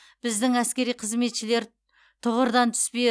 біздің әскери қызметшілер тұғырдан түспей